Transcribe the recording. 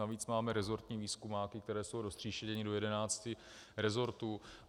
Navíc máme rezortní výzkumáky, které jsou roztříštěny do 11 rezortů.